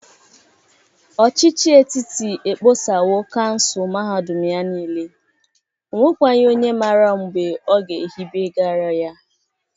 Ọchịchị etiti ekposawo kansụl mahadụm ya niile. O nwekwaghị onye mara mgbe ọ ga-ehibegarị ya.